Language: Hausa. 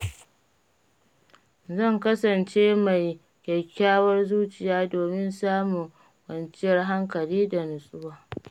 Zan kasance mai kyakkyawar zuciya domin samun kwanciyar hankali da natsuwa.